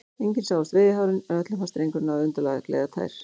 Engin sáust veiðihárin, en öllum fannst drengurinn hafa undarlega gleiðar tær.